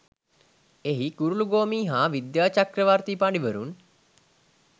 එහි ගුරුළුගෝමි හා විද්‍යාචක්‍රවර්තී පඬිවරුන්